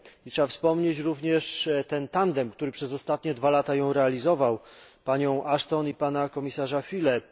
Trzeba wspomnieć również tandem, który przez ostatnie dwa lata ją realizował panią Ashton i pana komisarza Füllego.